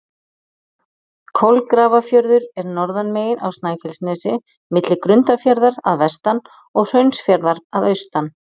Kolgrafafjörður er norðanmegin á Snæfellsnesi, milli Grundarfjarðar að vestan og Hraunsfjarðar að austan.